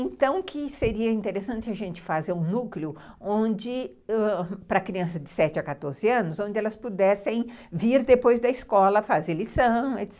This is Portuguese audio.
Então, que seria interessante a gente fazer um núcleo, onde, para crianças de sete a quatorze anos, onde elas pudessem vir depois da escola fazer lição, etc.